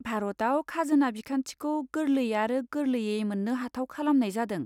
भारताव खाजोना बिखान्थिखौ गोरलै आरो गोरलैयै मोननो हाथाव खालामनाय जादों।